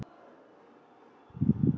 Engan þekkti